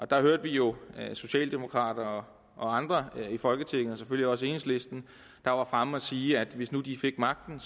der hørte vi jo socialdemokrater og andre i folketinget selvfølgelig også enhedslisten der var fremme at sige at hvis nu de fik magten